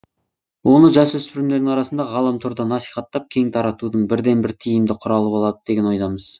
оны жасөспірімдердің арасында ғаламторда насихаттап кең таратудың бірден бір тиімді құралы болады деген ойдамыз